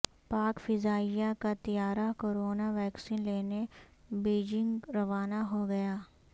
پاک فضائیہ کا طیارہ کورونا ویکسین لینےبیجنگ روانہ ہوگیا